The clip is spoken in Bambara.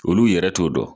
Olu yɛrɛ t'o dɔn